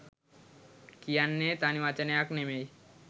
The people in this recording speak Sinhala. කියන්නෙ තනි වචනයක් නෙමෙයි